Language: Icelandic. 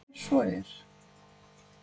er svo er